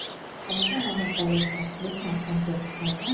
ಅವಾಗ ಮಸಾಲೆ ಹಾಕ್ಬಿಟ್ಟು ಮಾಡ್ಕೊಂತೀರ ಅಲ್ವ?